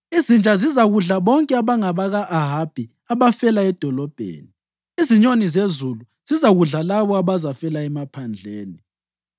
Izinja zizakudla bonke abangabaka-Ahabi abafela edolobheni, izinyoni zezulu zizakudla labo abazafela emaphandleni.”